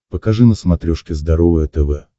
покажи на смотрешке здоровое тв